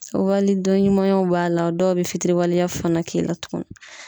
Walidɔn ɲumanyaw b'a la dɔw be fitiriwaleya fana k'i la tugun.